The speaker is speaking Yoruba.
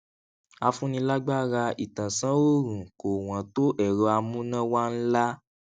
afúnilágbáraìtànsánòòrùn kò wọn tó ẹrọ amúnáwá ńlá